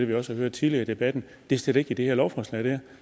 vi også har hørt tidligere i debatten er slet ikke i det her lovforslag